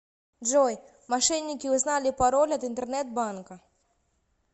джой мошенники узнали пароль от интернет банка